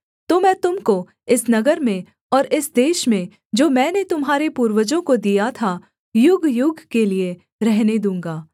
तो मैं तुम को इस नगर में और इस देश में जो मैंने तुम्हारे पूर्वजों को दिया था युगयुग के लिये रहने दूँगा